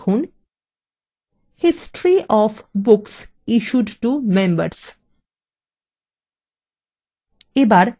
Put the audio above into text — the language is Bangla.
লিখুন history of books issued to members